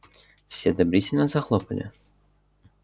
все одобрительно захлопали в ладоши